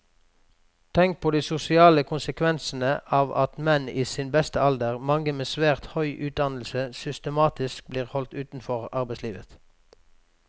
Tenk på de sosiale konsekvensene av at menn i sin beste alder, mange med svært høy utdannelse, systematisk blir holdt utenfor arbeidslivet.